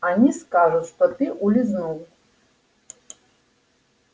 они скажут что ты улизнул